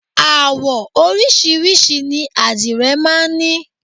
Àwọ oríṣiríṣi ni àdìrẹ máa ń ní.